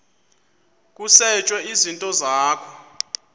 kusetshwe izinto zakho